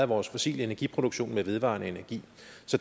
vores fossile energiproduktion med vedvarende energi